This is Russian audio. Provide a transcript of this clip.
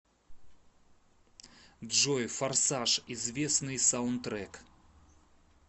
джой форсаж известныи саунтрек